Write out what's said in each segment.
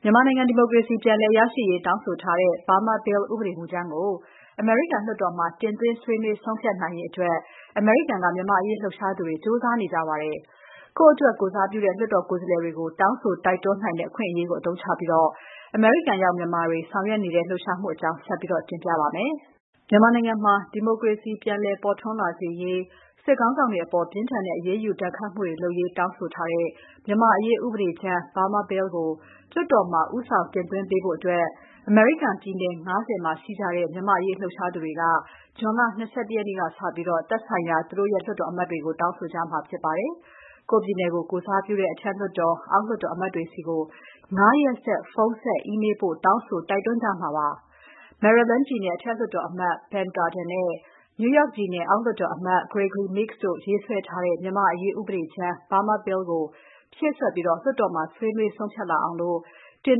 မြန်မာနိုင်ငံ ဒီမိုကရေစီ ပြန်လည်ရရှိရေး တောင်းဆိုထားတဲ့ Burma Bill ဥပဒေမူကြမ်းကို အမေရိကန်လွှတ်တော်မှာ တင်သွင်း ဆွေးနွေးဆုံးဖြတ်ရေးအတွက် အမေရိကန်က မြန်မာ့အရေး လှုပ်ရှားသူတွေ ကြိုးစားနေကြပါတယ်။ ကိုယ့်အတွက် ကိုယ်စားပြုတဲ့ လွှတ်တော်ကိုယ်စားလှယ်တွေကို တောင်းဆို တိုက်တွန်းနိုင်တဲ့ အခွင့်အရေးကို အသုံးချပြီး အမေရိကန်ရောက် မြန်မာတွေ ဆောင်ရွက်နေတဲ့ လှုပ်ရှားမှုအကြောင်း မစုမြတ်မွန်က တင်ပြထားပါတယ်။ မြန်မာနိုင်ငံမှာ ဒီမိုကရေစီစနစ် ပြန်လည်ပေါ်ထွန်းလာစေရေး၊ စစ်ခေါင်းဆောင်တွေအပေါ် ပြင်းထန်တဲ့ အရေးယူ ဒဏ်ခတ်မှုတွေ လုပ်ရေး တောင်းဆိုတဲ့ မြန်မာ့အရေး ဥပဒေမူကြမ်း Burma Bill ကို လွှတ်တော်မှာ ဦးဆောင်တင်သွင်းပေးဖို့ အမေရိကန်ပြည်နယ် ၅၀ မှာ ရှိကြတဲ့ မြန်မာ့အရေး လှုပ်ရှားသူတွေက ဇွန်လ ၂၁ ရက်နေ့ကစပြီး တောင်းဆိုကြမှာ ဖြစ်ပါတယ်။ ကိုယ့်ပြည်နယ်ကို ကိုယ်စားပြုတဲ့ အထက်လွှတ်တော်၊ အောက်လွှတ်တော် အမတ်တွေဆီ ၅ ရက်ဆက် ဖုန်းဆက်၊ အီးမေးလ်ပို့ တောင်းဆို တိုက်တွန်းကြမှာပါ။ Maryland ပြည်နယ် အထက်လွှတ်တော်အမတ် Ben Cardin နဲ့ New York ပြည်နယ် အောက်လွှတ်တော်အမတ် Gregory Meeks တို့ ရေးဆွဲထားတဲ့ မြန်မာ့အရေး ဥပဒေကြမ်း Burma Bill ကို ဖြည့်စွက်ပြီး လွှတ်တော်မှာ ဆွေးနွေး ဆုံးဖြတ်လာအောင် တင်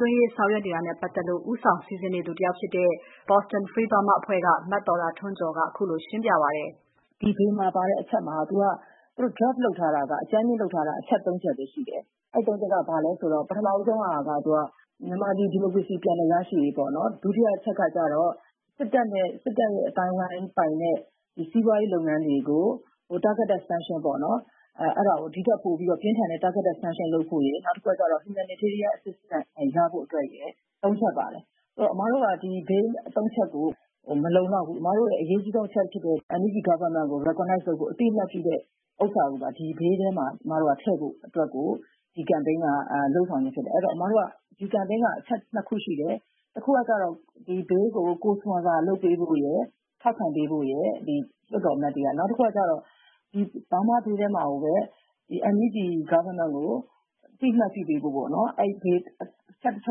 သွင်းရေး ဆောင်ရွက်နေတာနဲ့ ပတ်သက်လို့ ဦးဆောင်စီစဉ်နေသူ တဦးဖြစ်တဲ့ Boston Free Burma အဖွဲ့က မသော်တာထွန်းကျော်က ခုလိုရှင်းပြပါတယ်။ “ဒီ Bill မှာပါတဲ့ အချက်မှာ သူတို့ အကြမ်းလုပ်ထားတာ ၃ ချက်ရှိပါတယ်။ အဲဒီ ၃ ချက်မှာ ပထမဆုံးက မြန်မာပြည် ဒီမိုကရေစီ ပြန်လည်ရရှိရေး၊ ဒုတိယအချက်က စစ်တပ်နဲ့ စစ်တပ်အသိုင်းအဝိုင်းပိုင်တဲ့ စီးပွားရေးလုပ်ငန်းတွေကို Targeted Sanction ပေါ့ အဲဒါကို ဒီထက်ပိုပြီး ပြင်းထန်တဲ့ Targeted Sanction လုပ်ဖို့ရယ်၊ နောက်တခုက Humanitarian Assistance ရဖို့အတွက်ရယ် ၃ ချက်ပါတယ်။ အမတို့က ဒီ Bill ၃ ချက်ကို မလုံလောက်ဘူး။ အမတို့ရဲ့ အရေးအကြီးဆုံး အချက်ဖြစ်တဲ့ NUG အစိုးရကို အသိအမှတ်ပြုတဲ့ဟာကို ဒီ Bill ထဲမှာ ထည့်ဖို့အတွက် ဒီကမ်ပိန်းက လုပ်ခြင်းဖြစ်တယ်။ အဲဒီတော့ ဒီကမ်ပိန်းက အချက် ၂ ခုရှိတယ်။ တခုက ဒီ Bill ကို Co-sponsor လုပ်ပေးဖို့ရယ်၊ ထောက်ခံပေးဖို့ရယ် ဒီလွှတ်တော်အမတ်တွေက။ နောက်တခုက Burma Bill ထဲမှာကိုပဲ NUG အစိုးရကို အသိအမှတ်ပြုပေးဖို့ပေါ့၊ အဲဒီအချက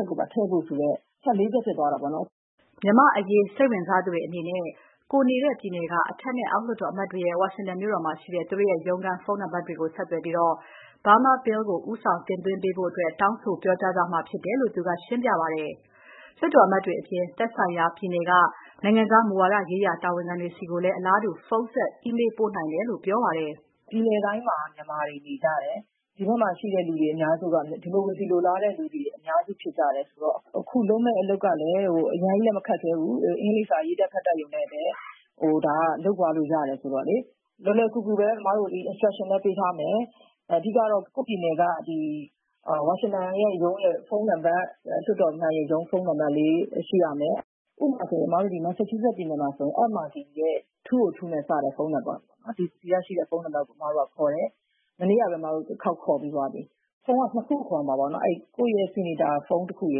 ်ကိုပါ ထည့်ပေးဖို့။ အချက် ၄ ချက် ဖြစ်သွားတာပေါ့။” မြန်မာ့အရေး စိတ်ဝင်စားသူတွေ အနေနဲ့ ကိုယ်နေတဲ့ပြည်နယ်က အထက်နဲ့ အောက်လွှတ်တော် အမတ်တွေရဲ့ ဝါရှင်တန်မြို့တော်မှာရှိတဲ့ သူတို့ရဲ့ ရုံးခန်း ဖုန်းနံပါတ်ကို ဆက်သွယ်ပြီး Burma Bill ကို ဦးဆောင်တင်သွင်းပေးဖို့ တောင်းဆိုပြောကြားကြမှာ ဖြစ်တယ်လို့ သူကရှင်းပြပါတယ်။ လွှတ်တော်အမတ်တွေအပြင် သက်ဆိုင်ရာပြည်နယ်က နိုင်ငံခြားမူဝါဒရေးရာ တာဝန်ခံဆီကိုလည်း အလားတူ ဖုန်းဆက် အီးမေးလ်ပို့နိုင်တယ်လို့ ပြောပါတယ်။ “ပြည်နယ်တိုင်းမှာ မြန်မာတွေ နေကြတယ်။ ဒီဘက်မှာရှိတဲ့ လူတွေအများစုက ဒီမိုကရေစီလိုလားတဲ့လူ အများစုဖြစ်ကြတယ်ဆိုတော့ အခုလုပ်မယ့် အလုပ်ကလည်း အရမ်းကြီးလည်း မခက်ခဲဘူး။ အင်္ဂလိပ်စာ ရေးတတ် ဖတ်တတ်ရုံနဲ့လည်း ဒါ လုပ်သွားလို့ရတယ်ဆိုတော့ လွယ်လွယ်ကူကူပဲ အမတို့ Instruction ပေးထားမယ်။ အဓိကတော့ ကိုယ့်ပြည်နယ်က ဝါရှင်တန်ရဲ့ ရုံးရဲ့ ဖုန်းနံပါတ် လွှတ်တော်အမတ်ရဲ့ ရုံးဖုန်းနံပါတ်လေး ရှိရမယ်။ ဥပမာ အမတို့ မက်ဆာချူးဆက်ပြည်နယ်မှာဆိုရင် Ed Markey ရဲ့ ၂၀၂ နဲ့စတဲ့ဖုန်းနံပါတ်၊ ဒီစီမှာရှိတဲ့ ဖုန်းနံပါတ်ကို ခေါ်တယ်။ မနေ့ကပဲ အမတို့ တခေါက် ခေါ်ပြီးသွားပြီ။ ဖုန်းက နှစ်ခုခေါ်ရမှာ။ ကိုယ့်ရဲ့ ဆီနိတ်တာ ဖုန်းတခုရ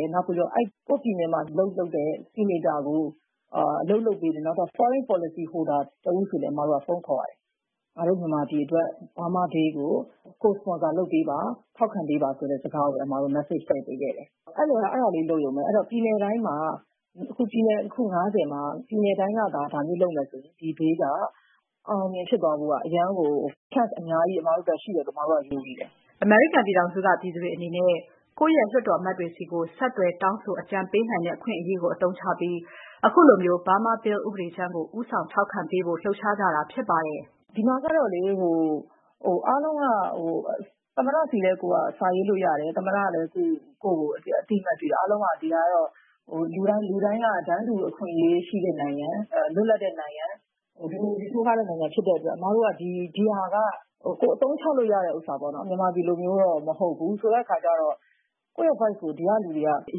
ယ်၊ ကိုယ့်ပြည်နယ်မှာ အလုပ်လုပ်တဲ့ ဆီနိတ်တာကို အလုပ်လုပ်ပေးဖို့ နောက်ထပ် Service Policy Holder ၃ ဦးကိုလည်း အမတို့က ဖုန်းခေါ်ရတယ်။ ငါတို့မြန်မာပြည်အတွက် Burma Bill ကို Co-sponsor လုပ်ပေးပါ။ ထောက်ခံပေးပါဆိုတဲ့ စကားကိုလည်း အမတို့ မက်ဆေ့ချ်ထည့်ပေးခဲ့တယ်။ အဲဒါလေး လုပ်ရုံပဲ။ အဲတော့ ပြည်နယ်အခု ၅၀ မှာ ပြည်နယ်တိုင်းကသာ ဒါမျိုးလုပ်မယ်ဆိုရင် ဒီ Bill က အောင်အောင်မြင်မြင် ဖြစ်သွားဖို့ Chance အများကြီးရှိတယ်လို့ အမတို့ ယုံကြည်တယ်။” အမေရိကန်ပြည်ထောင်စုက ပြည်သူတွေအနေနဲ့ ကိုယ့်ရဲ့ လွှတ်တော်အမတ်တွေဆီ ဆက်သွယ်တောင်းဆို အကြံပေးနိုင်တဲ့ အခွင့်အရေးကို အသုံးချပြီး ခုလို Burma Bill ဥပဒေကြမ်းကို ဦးဆောင်ထောက်ခံပေးဖို့ လှုပ်ရှားကြတာ ဖြစ်ပါတယ်။ “ဒီမှာကတော့ အားလုံးက သမ္မတဆီလည်း စာရေးလို့ရတယ်။ သမ္မတကလည်း ကိုယ့်ကို အသိအမှတ်ပြုတယ်။ အားလုံးက လူတိုင်းက တန်းတူအခွင့်အရေးရှိတဲ့ နိုင်ငံ၊ လွတ်လပ်တဲ့နိုင်ငံ၊ ဒီမိုကရေစီ ထွန်းကားတဲ့နိုင်ငံဖြစ်တဲ့အတွက် ဒီဟာက ကိုယ်အသုံးချလို့ရတဲ့ဟာပေါ့၊ မြန်မာပြည်လိုမျိုးတော့ မဟုတ်ဘူး။ ဆိုတဲ့အခါကြတော့ ကိုယ့် Voice ကို ဒီကလူတွေက အ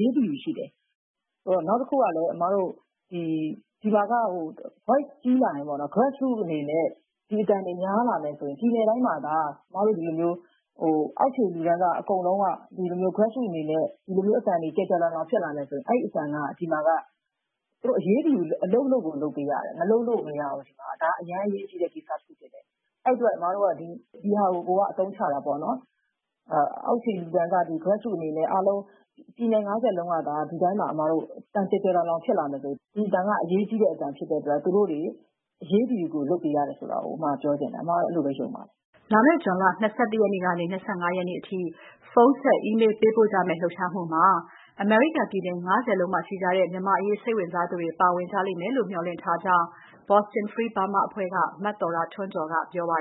ရေးတယူရှိတယ်။ နောက်တခုကလည်း ဒီမှာက Voice ကြီးလာရင် Grassroots အနေနဲ့ ဒီအသံတွေ များလာမယ်ဆိုရင် ပြည်နယ်တိုင်းမှာသာ ဒီလိုမျိုး အောက်ခြေလူတန်းစား အကုန်လုံးက Grassroots အနေနဲ့ ဒီလိုမျိုး အသံတွေ ကျယ်ကျယ်လောင်လောင် ဖြစ်လာမယ်ဆိုရင် အဲဒီအသံက ဒီမှာက သူတို့ အရေးတယူ အလုပ် လုပ်ကို လုပ်ပေးရတယ်။ မလုပ်လို့ကို မရဘူး ဒီမှာက။ ဒါ အရမ်းအရေးကြီးတဲ့ ကိစ္စတခုဖြစ်တယ်။ အဲဒီအတွက် အမတို့က ဒီဟာကို အသုံးချတာပေါ့။ အောက်ခြေလူတန်းစား Grassroots အနေနဲ့ အားလုံး ပြည်နယ် ၅၀ လုံးကသာ ဒီအတိုင်း အသံကျယ်ကျယ်လောင်လောင် ဖြစ်လာမယ်ဆိုရင် အင်မတန် အရေးကြီးတဲ့အသံ ဖြစ်တဲ့အတွက် သူတို့တွေ အရေးတယူ လုပ်ပေးရတယ်ဆိုတာ အမ ပြောချင်တယ်။ အမကတော့ အဲဒီလိုပဲ ယုံပါတယ်။” လာမယ့် ဇွန်လ ၂၁ ရက်ကနေ ၂၅ ရက်နေ့အထိ ဖုန်းဆက် အီးမေးလ်ပို့ကြမယ့် လှုပ်ရှားမှုမှာ အမေရိကန်ပြည်နယ် ၅၀ လုံးမှာ ရှိကြတဲ့ မြန်မာ့အရေး စိတ်ဝင်စားသူတွေ ပါဝင်ကြမယ်လို့ မျှော်လင့်ထားကြောင်း Boston Free Burma အဖွဲ့က မသော်တာထွန်းကျော်က ပြောပါ